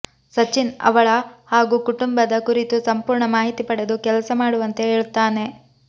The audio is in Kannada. ಸಚ್ಚಿನ್ ಅವಳ ಹಾಗೂ ಕುಟುಂಬದ ಕುರಿತು ಸಂಪೂರ್ಣ ಮಾಹಿತಿ ಪಡೆದು ಕೆಲಸ ಮಾಡುವಂತೆ ಹೇಳತ್ತಾನೆ